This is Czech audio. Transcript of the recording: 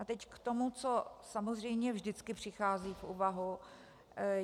A teď k tomu, co samozřejmě vždycky přichází v úvahu.